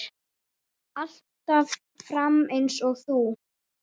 Alltaf fram eins og þú.